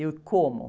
E, uh, como?